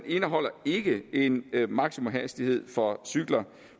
indeholder ikke en maksimumhastighed for cykler